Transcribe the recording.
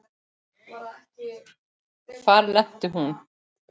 Hvar lenti hún?